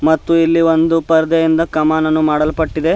ಮತ್ತು ಇಲ್ಲಿ ಒಂದು ಪರ್ದೆಯಿಂದ ಕಮಾನನ್ನು ಮಾಡಲ್ಪಟ್ಟಿದೆ.